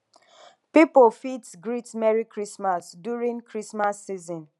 pipo fit greet merry christmas during christmas season